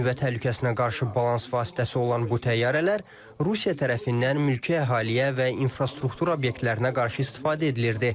Nüvə təhlükəsinə qarşı balans vasitəsi olan bu təyyarələr Rusiya tərəfindən mülki əhaliyə və infrastruktur obyektlərinə qarşı istifadə edilirdi.